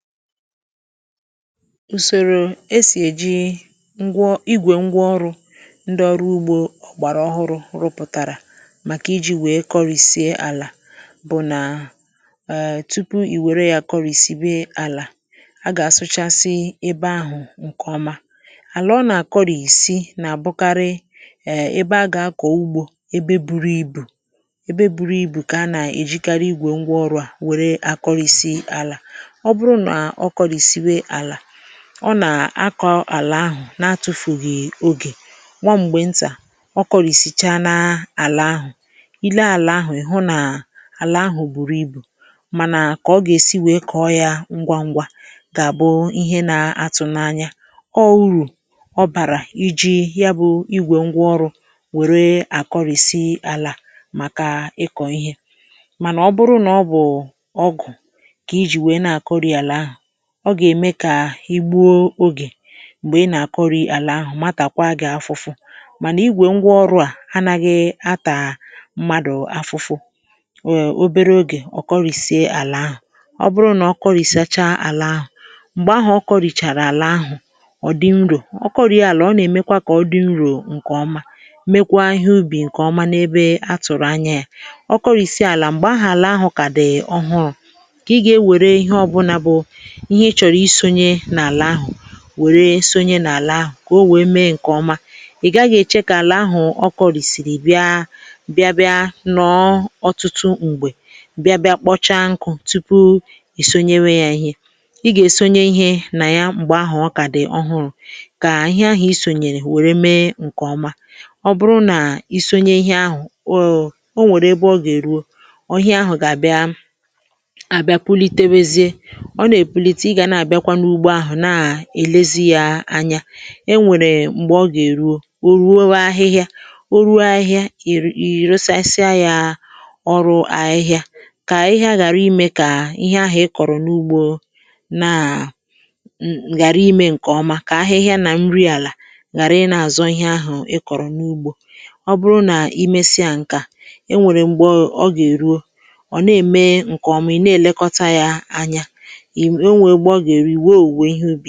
Ùsòrò esì èji ngwa igwè ngwa ọrụ̇ ndị ọrụ ugbȯ ọ̀gbàrà ọhụrụ̇ rụpụ̀tàrà màkà iji̇ wèe kọrìsie àlà bụ̀ nà, um tupu ì wère yȧ kọrìsì be àlà a gà-asụchasị ebe ahụ̀ ǹkèọma, àlà ọ nà-àkọrìsi nà-àbụkarị um ebe a gà-akọ̀ ugbȯ ebe buru ibù, ebe buru ibù kà a nà-èjikari igwè ngwa ọrụ̇ à wère akọrịsi àlà, oburu na ọkọrisibe àlà, ọ nà-akọ̀ àlà ahụ̀ na-atụ̇fùghì ogè, nwa ṁgbè ntà ọ kụ̀rìsichaa na àlà ahụ̀ ìle àlà ahụ̀ ị̀ hụ nà àlà ahụ̀ bùrù ibù, mànà kà ọ gà-èsi wèe kọ̀ọ yȧ ngwa ngwa gà-àbụ ihe na-atụ̇ n’anya, ọ urù ọ bàrà iji̇ ya bụ̇ igwè ngwa ọrụ̇ wère àkọrị̀sị̀ àlà màkà ịkọ̀ ihe, mànà ọ bụrụ nà ọ bụ̀ụ̀ ọgụ̀ kà iji wéé na-àkọrị̀ àlà ahụ, ọ gà-ème kà igbuo ogè m̀gbè ị nà-àkọrị̀ àlà ahụ̀ matàkwa gi afụfụ, mànà igwè ngwa ọrụ à anaghị atà mmadụ̀ afụfụ um obere ogè ọ kọrìsie àlà ahụ̀, ọ bụrụ nà ọ kọrìsacha àlà ahụ̀, m̀gbè ahụ̀ ọ kọrìchàrà àlà ahụ̀ ọ̀ dị nrò, ọ kọrìe àlà ọ nà-èmekwa kà ọ dị nrò ǹkè ọma mekwa ihe ubì ǹkè ọma n’ebe atụ̀rụ̀ anya yȧ, ọ kọrìsie àlà m̀gbè ahụ̀ àlà ahụ̀ kà dị ọhụrụ̇ kà ị gà-ewère ihe ọbụnȧ bụ̀ ihe ị chọ̀rọ̀ isȯnye n’àlà ahụ̀ wèrè isonye n’àlà ahụ̀ kà o nwèe mee ǹkè ọma, ị̀ gaghị èche kà àlà ahụ̀ ọ kọlị̀sị̀rị̀ bịa, bịa bịa nọọ ọ̀tụtụ m̀gbè bịa bịa kpọcha nkụ̇ tupu ì sonyewe ya ihe, ị gà-èsonye ihe nà ya m̀gbè ahụ̀ ọ kà dị̀ ọhụrụ̇, kà ihe ahụ̀ isònyèrè wère mee ǹkè ọma, ọ bụrụ nà isonye ihė ahụ̀ o nwèrè ebe ọ gà-èruo ọ̀hịa ahụ̀ gà-àbịa, àbịa pulitewezie, ọna epulite ịga na abiakwa na ụgbọ ahụ na elezi yȧ anya, e nwèrè m̀gbè ọ gà-èruo, ò ruo ahịhịa, ò ruo ahịhịa ì rụsasịa yȧ ọrụ ahịhịa kà ahịhịa ghàra imẹ kà ihe ahụ̀ ị kọ̀rọ̀ n’ugbȯ na, ghàra imẹ ǹkè ọma, kà ahịhịa nà nri àlà ghàra ị nȧ-àzọ ihe ahụ̀ ị kọ̀rọ̀ n’ugbȯ, ọ bụrụ nà i mesia ǹkè a e nwèrè m̀gbè ọ gà-èruo ọ̀ na-ème ǹkè ọmụ̀ ị̀ na-èlekọta yȧ anya, enwere mgbe ọga eru ịwé ọwụwe ihe ubi.